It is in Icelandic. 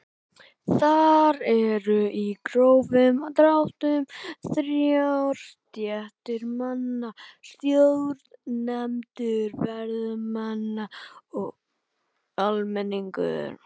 Þar eru í grófum dráttum þrjár stéttir manna: Stjórnendur, varðmenn og almenningur.